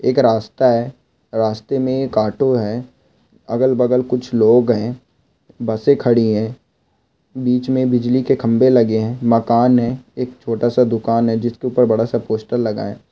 एक रास्ता है रास्ते में एक ऑटो है अगल बगल में कुछ लोग है बसे खड़ी है बिच में बिजली के खंबे लगे है मकान है एक छोटा सा दूकान है जिसके ऊपर बड़ा सा पोस्टर लगा है।